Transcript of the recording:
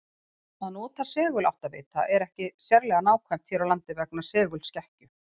að nota seguláttavita er ekki sérlega nákvæmt hér á landi vegna segulskekkju